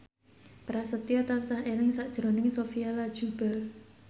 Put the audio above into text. Prasetyo tansah eling sakjroning Sophia Latjuba